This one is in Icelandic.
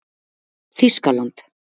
Þýskaland